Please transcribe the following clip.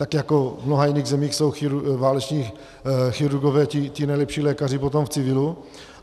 Tak jako v mnoha jiných zemích jsou váleční chirurgové ti nejlepší lékaři potom v civilu.